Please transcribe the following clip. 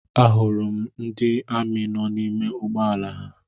A hụrụ m ndị amị nọ n'ime ụgbọala ha.